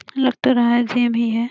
लग तो रहा हैं जिम ही हैं।